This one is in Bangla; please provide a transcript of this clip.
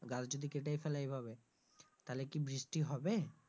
গাছ যদি কেটেই ফেলে এভাবে তাহলে কি বৃষ্টি হবে।